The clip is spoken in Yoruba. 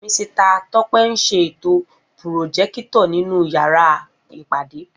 Misita Tọ́pẹ́ ń ṣètò pùròjékítọ̀r nínú yàrá ìpàdé